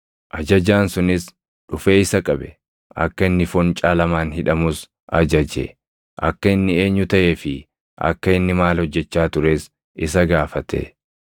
Ajajaan sunis dhufee isa qabe; akka inni foncaa lamaan hidhamus ajaje; akka inni eenyu taʼee fi akka inni maal hojjechaa tures isa gaafate.